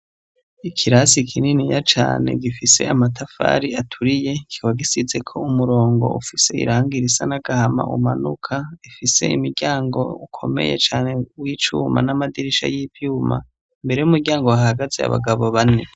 Ikirasi kininiya cane gifise amatafari aturiye kikaba gisizeko umurongo ufise irangi risa n'agahama umanuka, ifise imiryango ukomeye cane w'icuma n'amadirisha y'ivyuma, imbere y'umuryango hahagaze abagabo bane.